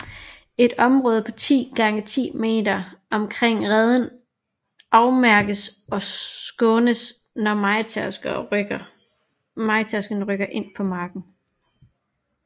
Et område på 10x10 meter omkring reden afmærkes og skånes når mejetærskerne rykker ind på marken